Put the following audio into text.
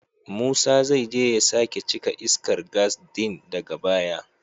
Musa zai je ya sake cika iskar gas din daga baya.